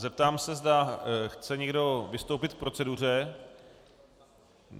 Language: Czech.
Zeptám se, zda chce někdo vystoupit k proceduře?